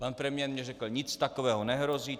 Pan premiér mi řekl: "Nic takového nehrozí.